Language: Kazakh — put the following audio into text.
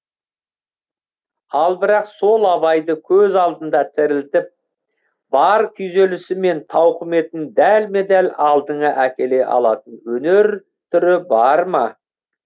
ал бірақ сол абайды көз алдыңда тірілтіп бар күйзелісі мен тауқіметін дәлме дәл алдыңа әкеле алатын өнер түрі бар ма